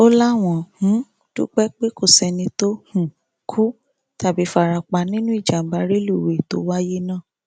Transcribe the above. ó láwọn um dúpẹ pé kò sẹni tó um kú tàbí fara pa nínú ìjàmbá rélùwéè tó wáyé náà